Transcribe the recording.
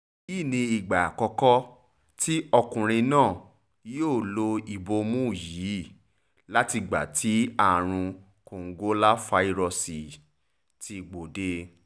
èyí ni ìgbà àkọ́kọ́ tí ọkùnrin náà yóò lo ìbomú yìí látìgbà tí àrùn kòǹgóláfàírọ́ọ̀sì ti gbòde